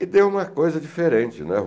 E deu uma coisa diferente, né?